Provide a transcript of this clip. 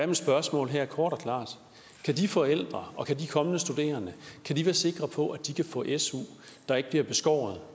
mit spørgsmål her kort og klart kan de forældre og kan de kommende studerende være sikre på at de kan få en su der ikke bliver beskåret